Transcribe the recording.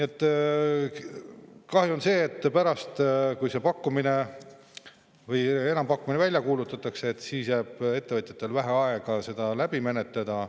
Kahju on sellest, et pärast, kui see enampakkumine välja kuulutatakse, jääb ettevõtjatele vähe aega seda menetleda.